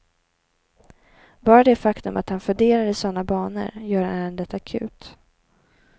Bara det faktum att han funderar i såna banor gör ärendet akut.